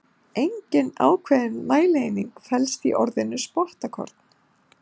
Engin ákveðin mælieining felst í orðinu spottakorn.